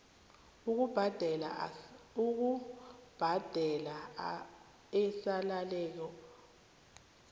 ukubhadela esaleleko kwasars